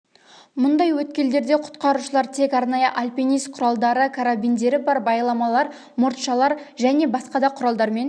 мұндай өткелдерде құтқарушылар тек арнайы альпинист құралдары карабиндері бар байламалар мұртшалар жәнге басқа да құралдармен